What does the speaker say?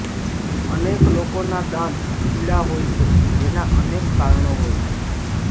અનેક લોકોના દાંત પીળા હોય છે જેના અનેક કારણો હોય છે